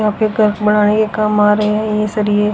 यहां पे घर बनाने के काम आ रहे हैं ये सरिए --